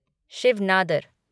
Shiv Nadar